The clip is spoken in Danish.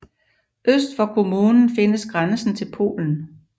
Øst for kommunen findes grænsen til Polen